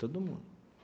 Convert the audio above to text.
Todo mundo.